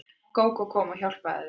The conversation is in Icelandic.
Gógó kom og hjálpaði þeim.